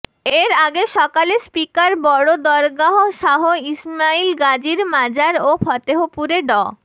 এর আগে সকালে স্পিকার বড় দরগাহ শাহ ইসমাইল গাজীর মাজার ও ফতেহপুরে ড